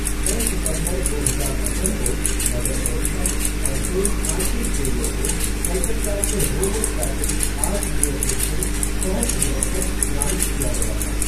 छः सितंबर दो हज़ार सत्रह को, मदर टेरेसा और सेंट फ़्रांसिस ज़ेवियर को कलकत्ता के रोमन कैथोलिक आर्चडीओसीज़ के सह संरक्षक नामित किया गया था।